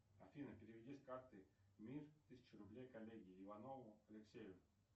афина переведи с карты мир тысячу рублей коллеге иванову алексею